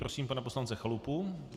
Prosím pana poslance Chalupu.